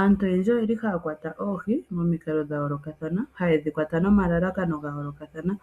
Aantu oyendji oyeli ha ya kwata oohi momikalo dha yoolokathana ha ye dhi kwata no malalakano ga yoolokathana.